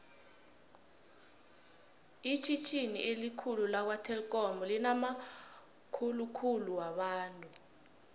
itjhitjhini elikhulu lakwa telikhomu linamakukhulu wabantu